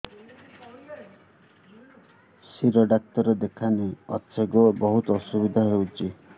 ଶିର doctor କେଖାନେ ଅଛେ ଗୋ ବହୁତ୍ ଅସୁବିଧା ହଉଚି